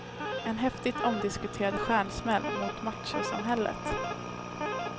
En häftigt omdiskuterad stjärnsmäll mot machosamhället.